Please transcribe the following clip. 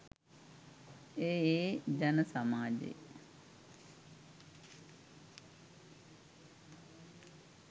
එය ඒ ජන සමාජයේ